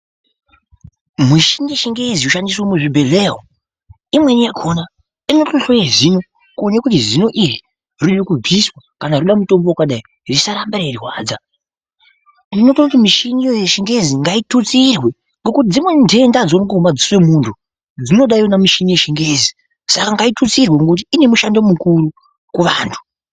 Mushini yechingezi inoshandiswa muzvibhedhleya umu imweni yakhona inotohloye zino kuone kuti zino iri rode kubviswa kana roda mutombo wakadai risaramba reirwadza unototi mishini yechingezi ngaitutsirwe ngekuti dzimweni ntenda adzioneki ngomadziso emunthu dzinoda yona michini yechingezi saka ngaitutsirwe ngekuti ine mushando mukuru kuvanthu.